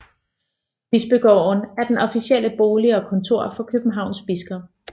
Bispegården er den officielle bolig og kontor for Københavns biskop